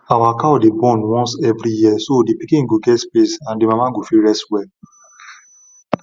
our cow dey born once every year so the pikin go get space and the mama go fit rest well